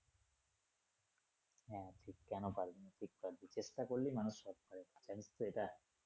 হম কেন পারবি না, ঠিক পারবি চেষ্টা করলেই মানুষ সব পারে জানিস তো এটা।